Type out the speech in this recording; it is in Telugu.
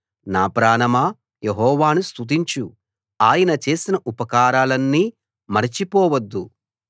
నా ప్రాణమా యెహోవాను స్తుతించు ఆయన చేసిన ఉపకారాలన్నీ మరచిపోవద్దు